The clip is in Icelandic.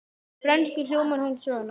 Á frönsku hljómar hún svona